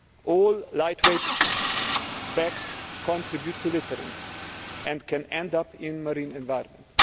All lightweight bags contribute to littering and can end up in the marine environment.